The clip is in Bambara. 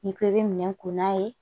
N'i ko i bɛ minɛn ko n'a ye